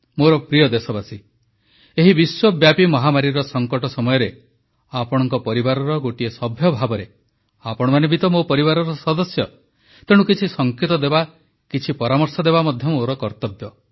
ମୋର ପ୍ରିୟ ଦେଶବାସୀଗଣ ଏହି ବିଶ୍ୱବ୍ୟାପୀ ମହାମାରୀର ସଙ୍କଟ ସମୟରେ ଆପଣଙ୍କ ପରିବାରର ଗୋଟିଏ ସଭ୍ୟ ଭାବରେ ଆପଣମାନେ ବି ତ ମୋ ପରିବାରର ସଦସ୍ୟ ତେଣୁ କିଛି ସଙ୍କେତ ଦେବା କିଛି ପରାମର୍ଶ ଦେବା ମଧ୍ୟ ମୋର କର୍ତ୍ତବ୍ୟ